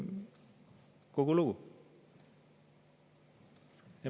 Kogu lugu.